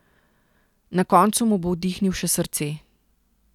Na koncu mu bo vdihnil še srce.